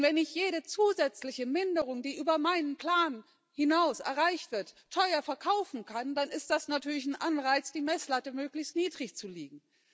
Wenn ich jede zusätzliche Minderung, die über meinen Plan hinaus erreicht wird, teuer verkaufen kann, dann ist das natürlich ein Anreiz, die Messlatte möglichst niedrig zu legen.